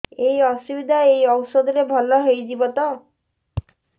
ଏଇ ଅସୁବିଧା ଏଇ ଔଷଧ ରେ ଭଲ ହେଇଯିବ ତ